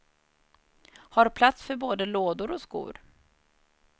Har plats för både lådor och skor.